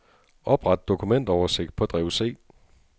Opret dokumentoversigt på drev C.